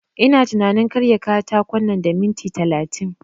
Ina tunanin karya katakon nan da minit talatin